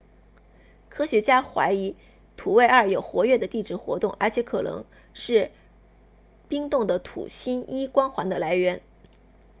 科学家怀疑土卫二有活跃的地质活动而且可能是冰冻的土星 e 光环的来源